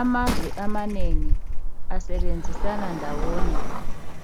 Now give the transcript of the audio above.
Amazwe amanengi asebenzisana ndawonye